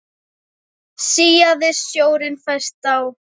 Síaði sjórinn fæst á